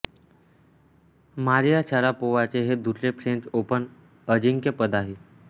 Maria शारापोव्हाचे हे दुसरे फ्रेंच ओपन अजिंक्यपद आहे